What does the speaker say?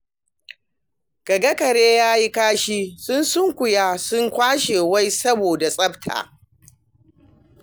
Ka ga kare ya yi kashi, sun sunkuya sun kwashe wai saboda tsafta.